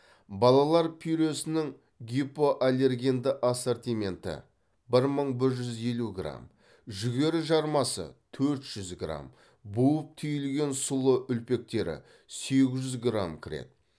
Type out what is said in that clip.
балалар пюресінің гипоаллергенді ассортименті бір мың бір жүз елу грамм жүгері жармасы төрт жүз грамм буып түйілген сұлы үлпектері сегіз жүз грамм кіреді